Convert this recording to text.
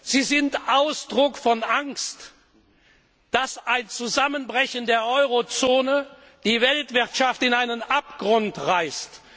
sie sind Ausdruck der Angst, dass ein Zusammenbrechen der Eurozone die Weltwirtschaft in einen Abgrund reißt.